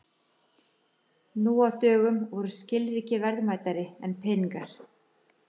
Nú á dögum voru skilríki verðmætari en peningar.